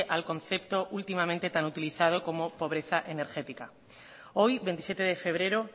al concepto últimamente tan utilizado como pobreza energética hoy veintisiete de febrero